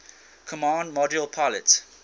command module pilot